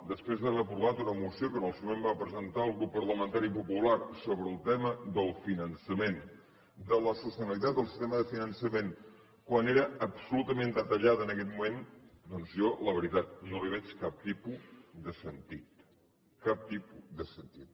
després d’haver aprovat una moció que en el seu moment va presentar el grup parlamentari popular sobre el tema del finançament de la sostenibilitat del tema de finançament quan era absolutament detallat en aquest moment doncs jo la veritat no li veig cap tipus de sentit cap tipus de sentit